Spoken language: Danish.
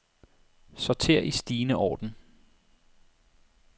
Sorter i stigende orden.